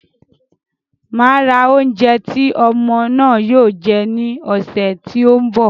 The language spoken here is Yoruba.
Màá ra oúnjẹ tí ọmọ náà yóò jẹ ní ọ̀ṣẹ̀ tí ń bọ̀.